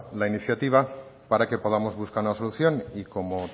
la iniciativa para que podamos buscar una solución y como